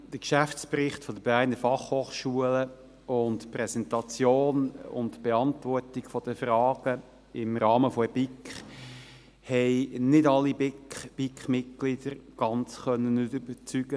Der Geschäftsbericht der BFH und die Präsentation und Beantwortung der Fragen im Rahmen der BiK konnten nicht alle BiK-Mitglieder ganz überzeugen;